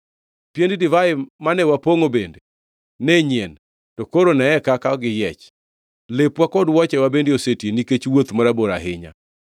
Piend divai mane wapongʼo bende ne nyien, to koro neye kaka giyiech. Lepwa kod wuochewa bende oseti nikech wuoth marabora ahinya.”